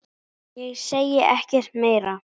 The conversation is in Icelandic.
Ég segi ekkert meira.